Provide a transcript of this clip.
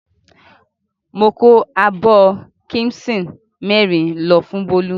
Mo kó abọ́ kíḿṣì mẹ́rin lọ fún Bólú.